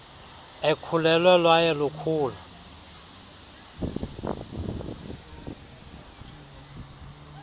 ekhulelwe lwaye lukhula